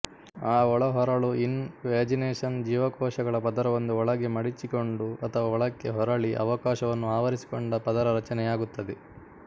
ಆ ಒಳಹೊರಳು invagination ಜೀವಕೋಶಗಳ ಪದರವೊಂದು ಒಳಗೆ ಮಡಿಚಿಕೊಂಡು ಅಥವಾ ಒಳಕ್ಕೆ ಹೊರಳಿ ಅವಕಾಶವನ್ನು ಆವರಿಸಿಕೊಂಡ ಪದರ ರಚನೆಯಾಗುತ್ತದೆ